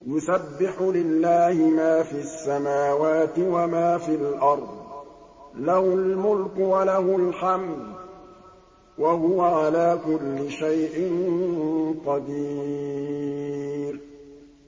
يُسَبِّحُ لِلَّهِ مَا فِي السَّمَاوَاتِ وَمَا فِي الْأَرْضِ ۖ لَهُ الْمُلْكُ وَلَهُ الْحَمْدُ ۖ وَهُوَ عَلَىٰ كُلِّ شَيْءٍ قَدِيرٌ